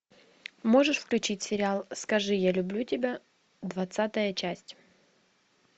можешь включить сериал скажи я люблю тебя двадцатая часть